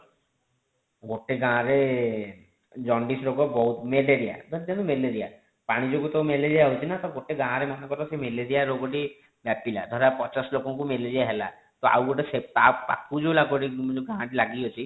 ଗୋଟେ ଗାଁ ରେ ଜଣ୍ଡିସ ରୋଗ ବହୁତ ମେଲେରୀୟା ଧରିନିଅନ୍ତୁ ମେଲେରୀୟା ପାଣି ଯୋଗୁ ତ ମେଲେରୀୟା ହଉଛି ନା ତ ଗୋଟେ ଗାଁ ରେ ମନ କର ସେ ମେଲେରୀୟା ରୋଗ ଟି ବ୍ୟାପିଲା ଧରା ପଚାଶ ଲୋକଙ୍କୁ ମେଲେରୀୟା ହେଲା ତ ପରେ ତ ଆଉ ଗୋଟେ ସେ ପାଖକୁ ଯେଉଁ ଗାଁ ଟି ଲାଗିକି ଅଛି